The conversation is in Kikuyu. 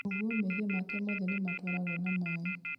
ũguo mehia make mothe nimatwaragwo na maĩ